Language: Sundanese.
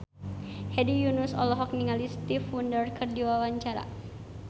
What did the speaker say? Hedi Yunus olohok ningali Stevie Wonder keur diwawancara